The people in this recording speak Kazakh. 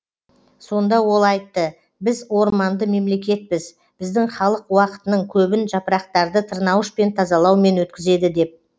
сонда ол айтты біз орманды мемлекетпіз біздің халық уақытының көбін жапырақтарды тырнауышпен тазалаумен өткізеді деп